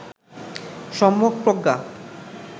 সম্যক প্রজ্ঞা